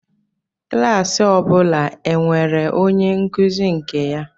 Klas ọ bụla e nwere onye nkuzi nke ya